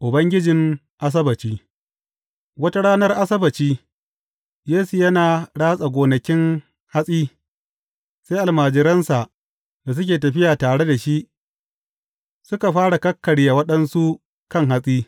Ubangijin Asabbaci Wata ranar Asabbaci, Yesu yana ratsa gonakin hatsi, sai almajiransa da suke tafiya tare da shi, suka fara kakkarya waɗansu kan hatsi.